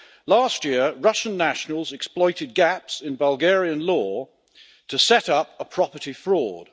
Last year, Russian nationals exploited gaps in Bulgarian law to set up a property fraud.